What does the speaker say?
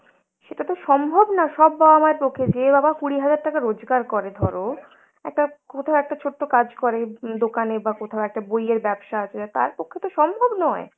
সেটা তো সম্ভব না সব বাবা মার পক্ষে। যে বাবা কুড়ি হাজার টাকা রোজগার করে ধরো একটা কোথাও একটা ছোট্ট কাজ করে উম দোকানে বা কোথাও একটা বইয়ের ব্যবসা আছে যার তার পক্ষে তো সম্ভব নয়,